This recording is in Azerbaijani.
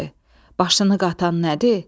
Başını qatan nədir?